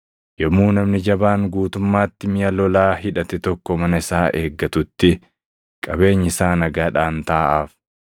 “Yommuu namni jabaan guutummaatti miʼa lolaa hidhate tokko mana isaa eeggatutti, qabeenyi isaa nagaadhaan taaʼaaf.